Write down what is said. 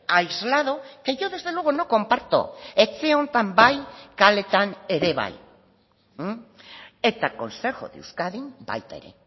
aislado que yo desde luego no comparto etxe honetan bai kaleetan ere bai eta consejo de euskadin baita ere